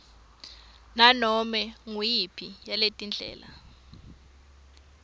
nganome nguyiphi yaletindlela